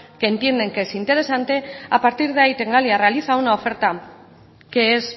que entienden que es interesante a partir de ahí tecnalia realiza una oferta que es